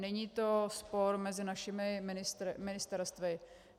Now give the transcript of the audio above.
Není to spor mezi našimi ministerstvy.